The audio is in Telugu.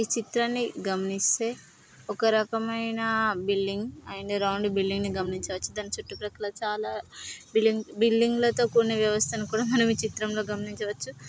ఈ చిత్రాన్ని గమనిస్తే ఒక రకమయిన బిల్డింగ్ అండ్ రౌండ్ బిల్డింగ్ ని గమమనించవచ్చు. దాని చుట్టూ ప్రక్కల చాలా బిల్డింగ్ బిల్డింగ్స్ తో కూడిన వ్యవస్థను కూడా మనం ఈ చిత్రంలో గమమనించవచ్చు.